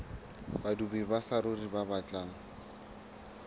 badudi ba saruri ba batlang